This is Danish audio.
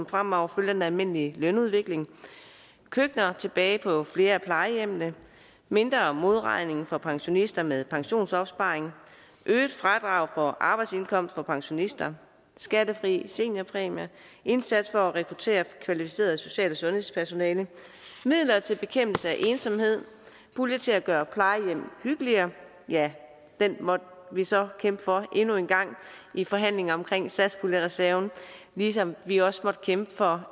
fremover følger den almindelige lønudvikling køkkener tilbage på flere af plejehjemmene mindre modregning for pensionister med pensionsopsparing øget fradrag for arbejdsindkomst for pensionister skattefri seniorpræmier en indsats for at rekruttere kvalificeret social og sundhedspersonale midler til bekæmpelse af ensomhed en pulje til at gøre plejehjem hyggeligere ja den måtte vi så kæmpe for endnu en gang i forhandlingen omkring satspuljereserven ligesom vi også måtte kæmpe for